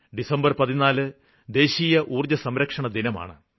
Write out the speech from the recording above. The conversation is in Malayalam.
ഡിസംബര് 14 ദേശീയ ഊര്ജ്ജസംരക്ഷണദിനമാണ്